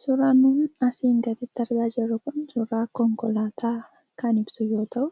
Suuraan asiin gaditti argaa jirru kun suuraa konkolaataa kan ibsu yoo ta'u,